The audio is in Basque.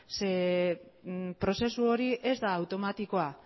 prozesu hori ez da automatikoa